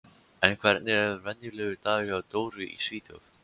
En hvernig er venjulegur dagur hjá Dóru í Svíþjóð?